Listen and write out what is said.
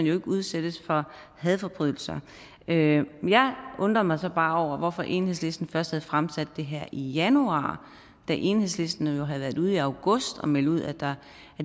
jo ikke udsættes for hadforbrydelser jeg undrer mig så bare over hvorfor enhedslisten først fremsatte det her i januar da enhedslisten jo havde været ude i august og melde ud at